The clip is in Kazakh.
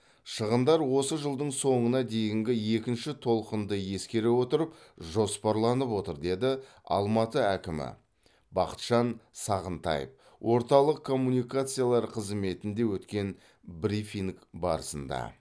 шығындар осы жылдың соңына дейінгі екінші толқынды ескере отырып жоспарланып отыр деді алматы әкімі бақытжан сағынтаев орталық коммуникациялар қызметінде өткен брифинг барысында